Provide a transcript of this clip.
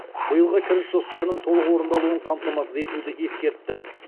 биылғы кіріс жоспарының толық орындалуын қамтамасыз етуді ескертті